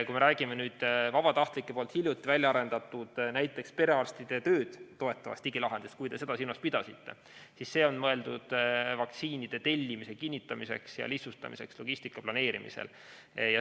Kui me räägime vabatahtlike hiljuti väljaarendatud, perearstide tööd toetavast digilahendusest, kui te seda silmas pidasite, siis see on mõeldud vaktsiinide tellimise kinnitamiseks ja lihtsustamiseks logistika planeerimisel.